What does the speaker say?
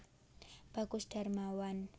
Bagus Darmawan